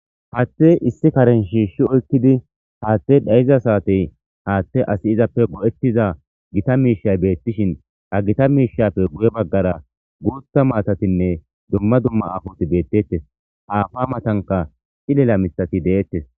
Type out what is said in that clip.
Haatte issi karen shiishshi oykkidi haathte dhayiza saatey haatte asi izappe go'ettiza gita miishay beettishin agita miishappe guye baggara guutha maatatinne dumma dumma afoti beettettes haafa matanka xilela mithati deettes.